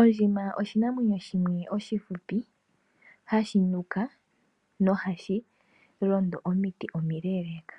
Ondjima oshinamwenyo shimwe oshifupi hashi nuka nohashi londo omiti omileeleeka.